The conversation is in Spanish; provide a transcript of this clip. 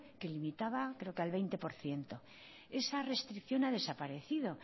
que limitaba creo que al veinte por ciento esa restricción ha desaparecido